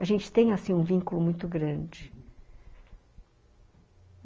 A gente tem assim um vínculo muito grande.